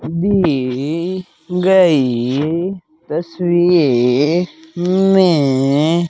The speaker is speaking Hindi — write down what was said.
दी गई तस्वीर में --